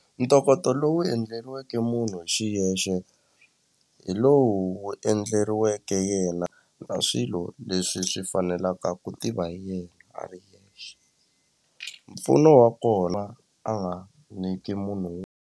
Ntokoto lowu endleriweke munhu hi xiyexe hi lowu wu endleriweke yena na swilo leswi swi fanelaka ku tiva hi yena a ri mpfuno wa kona a nga niki munhu.